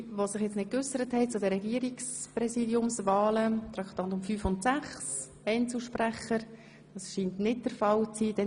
Gibt es noch weitere Voten zu den Regierungspräsidiumswahlen, Traktanden 5 und 6? – Das scheint nicht der Fall zu sein.